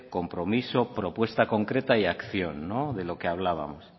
compromiso propuesta concreta y acción de lo que hablábamos